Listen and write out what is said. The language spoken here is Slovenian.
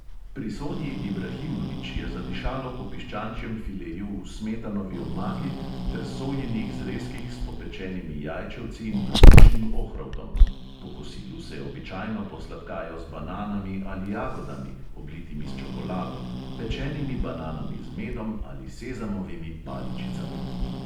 Pri sonji ibrahimović je zadišalo po piščančjem fileju v smetanovi omaki ter sojinih zrezkih s popečenimi jajčevci in brstičnim ohrovtom; po kosilu se običajno posladkajo z bananami ali jagodami, oblitimi s čokolado, pečenimi bananami z medom ali sezamovimi paličicami.